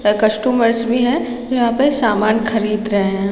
यहाँ कस्टमर्स भी है जो यहाँ पे सामान खरीद रहै है।